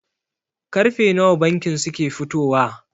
Karfe nawa bankin suke fitowa?